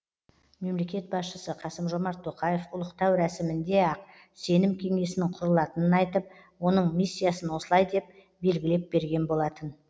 мемлекет басшысы қасым жомарт тоқаев ұлықтау рәсімінде ақ сенім кеңесінің құрылатынын айтып оның миссиясын осылай деп белгілеп берген болатын